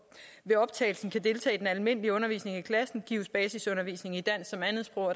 ved optagelsen kan deltage i den almindelige undervisning i klassen gives basisundervisning i dansk som andetsprog